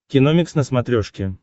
киномикс на смотрешке